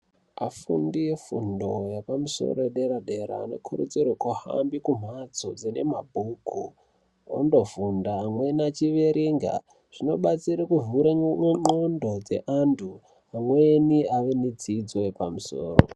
Afundi efundo yepamusoro yedera-dera anokurudzirwe kuhambe kumhatso dzine mabhuku ondofunda. Amweni achiverenga zvinobatsire kuvhare ndxondo dzeantu amweni avenedzidzo yepamusoro.